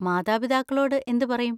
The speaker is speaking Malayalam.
മാതാപിതാക്കളോട് എന്ത് പറയും?